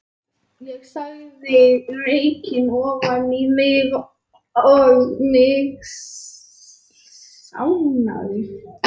Ég sogaði reykinn ofan í mig og mig svimaði.